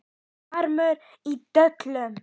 HVAMMUR Í DÖLUM